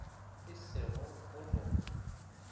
e se go go no